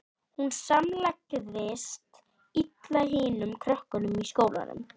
Hún samlagaðist illa hinum krökkunum í skólanum.